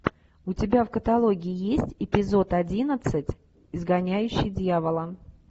у тебя в каталоге есть эпизод одиннадцать изгоняющий дьявола